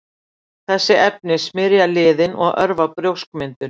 Þessi efni smyrja liðinn og örva brjóskmyndun.